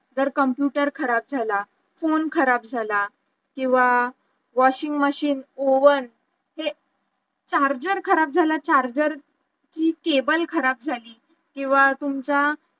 जर computer खराब झाला phone खराब झाला किंवा washing machine oven हे charger खराब झालं charger कि cable खराब झाली किंवा तुमचा